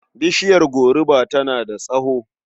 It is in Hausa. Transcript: Bishiyar goruba tana da tsawo.